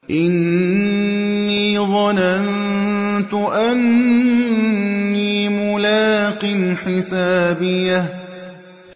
إِنِّي ظَنَنتُ أَنِّي مُلَاقٍ حِسَابِيَهْ